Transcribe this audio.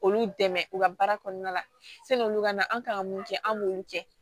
Olu dɛmɛ u ka baara kɔnɔna la sanni olu ka na an kan ka mun kɛ an b'olu kɛ